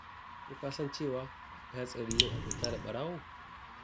Ko ka san cewa akwai hatsari yin abota da ɓarawo?